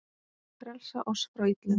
Frelsa oss frá illu!